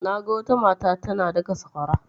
Naga wata mata tana daka sakwara.